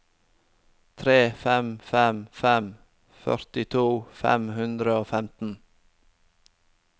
tre fem fem fem førtito fem hundre og femten